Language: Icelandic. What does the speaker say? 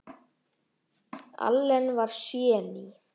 Allen var séní.